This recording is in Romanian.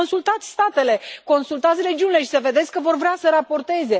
Păi consultați statele, consultați regiunile și o să vedeți că vor vrea să raporteze.